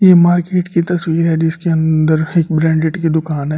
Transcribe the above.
यह मार्केट की तस्वीर है जिसके अंदर एक ब्रांडेड की दुकान है।